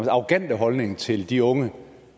arrogante holdning til de unge